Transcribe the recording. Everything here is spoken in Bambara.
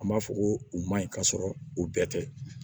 An b'a fɔ ko u man ɲi ka sɔrɔ u bɛɛ tɛ